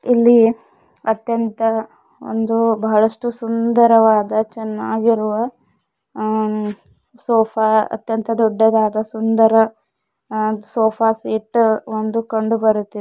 ಇಲ್ಲಿ ಅತ್ಯಂತ ಒಂದು ಬಹಳಷ್ಟು ಸುಂದರವಾದ ಚೆನ್ನಾಗಿರುವ ಅ ಸೋಫಾ ಅತ್ಯಂತ ದೊಡ್ಡದಾದ ಸುಂದರ ಅ ಸೋಫಾ ಸೆಟ್ ಒಂದು ಕಂಡು ಬರುತ್ತಿದ್ --